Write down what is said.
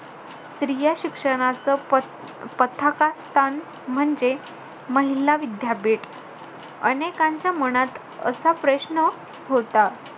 स्त्रिया शिक्षणाचं पथ~ पताका स्थान म्हणजे महिला विद्यापीठ. अनेकांच्या मनात असा प्रश्न होता.